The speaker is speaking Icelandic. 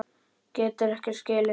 Geturðu ekki skilið það?